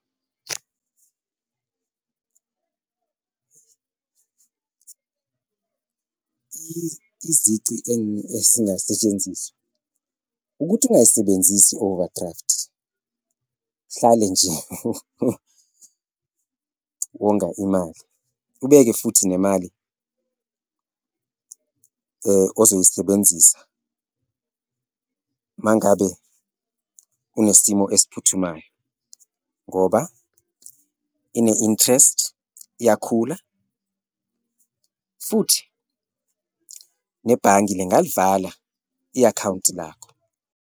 Izici esingasetshenziswa ukuthi ungayisebenzisi i-overdraft, uhlale nje wonga imali ubeke futhi nemali ozoyisebenzisa mangabe unesimo esiphuthumayo ngoba ine-interest, iyakhula futhi nebhange lingalivala i-akhawunti lakho.